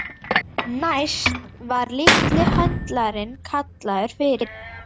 Næst var litli höndlarinn kallaður fyrir.